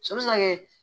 So bɛ se ka kɛ